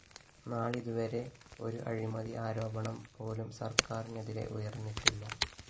നാളിതുവരെ ഒരു അഴിമതി ആരോപണംപോലും സര്‍ക്കാരിനെതിരെ ഉയര്‍ന്നിട്ടില്ല